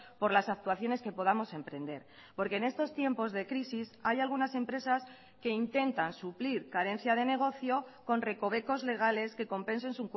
por las actuaciones que podamos emprender porque en estos tiempos de crisis hay algunas empresas que intentan suplir carencia de negocio con recovecos legales que compensen